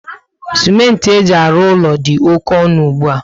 Simenti eji alụ úlọ dị oké ọnụ ugbua